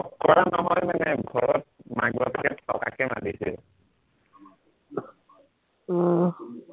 লগ কৰা নহয় মানে ঘৰত মাক বাপেকে থকাকে মাতিছে আহ